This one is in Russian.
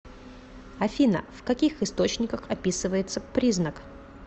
афина в каких источниках описывается признак